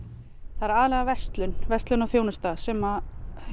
það er aðallega verslun verslun og þjónusta sem